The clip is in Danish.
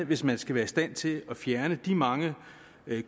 hvis man skal være i stand til at fjerne de mange